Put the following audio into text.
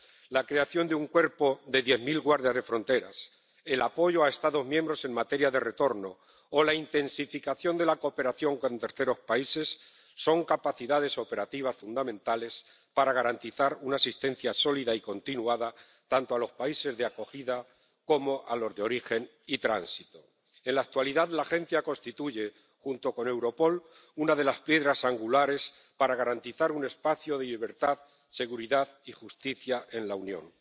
La creación de un cuerpo de diez mil guardias de fronteras, el apoyo a Estados miembros en materia de retorno o la intensificación de la cooperación con terceros países son capacidades operativas fundamentales para garantizar una asistencia sólida y continuada tanto a los países de acogida como a los de origen y tránsito. En la actualidad, la Agencia constituye, junto con Europol, una de las piedras angulares para garantizar un espacio de libertad, seguridad y justicia en la Unión.